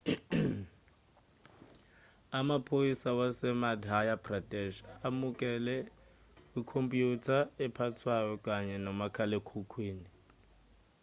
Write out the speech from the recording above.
amaphoyisa wasemadhya pradesh amukele ikhompyutha ephathwayo kanye nomakhalekhukhwini